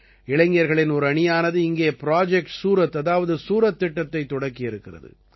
இளைஞர்களின் ஒரு அணியானது இங்கே ப்ராஜெக்ட் சூரத் அதாவது சூரத் திட்டத்தை தொடக்கியிருக்கிறது